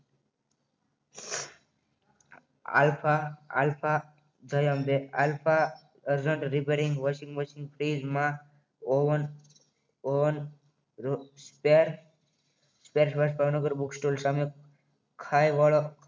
alpha alpha Jay Ambe આલ્ફ urgent repairing washing machine ફ્રીજમાં ફ્રીજમાં oven oven spare part Bhavnagar book store સામે ખાઈ વાળા